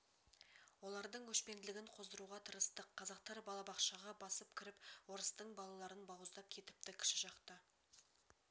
олардың өшпенділігін қоздыруға тырыстық қазақтар балабақшаға басып кіріп орыстың балаларын бауыздап кетіпті кіші жақта